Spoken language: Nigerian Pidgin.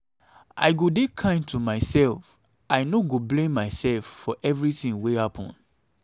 i go dey kind to myself i no go blame myself for everytin wey happen.